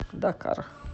дакар